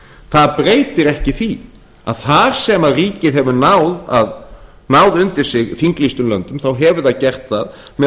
það breytir ekki því að þar sem ríkið hefur náð undir sig þinglýstum löndum þá hefur það gert það með